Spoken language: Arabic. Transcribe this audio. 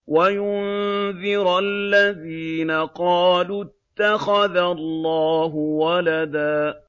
وَيُنذِرَ الَّذِينَ قَالُوا اتَّخَذَ اللَّهُ وَلَدًا